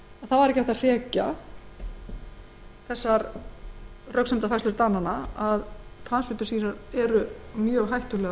ekki var hægt að hrekja röksemdafærslur dananna um að transfitusýrur eru mjög hættulegar